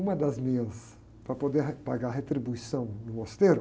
Uma das minhas, para poder pagar a retribuição no mosteiro,